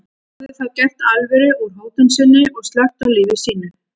Hún hafði þá gert alvöru úr hótun sinni og slökkt á lífi sínu.